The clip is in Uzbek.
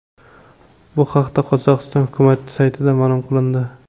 Bu haqda Qozog‘iston hukumati saytida ma’lum qilindi .